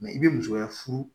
Mɛ i bɛ musoya furu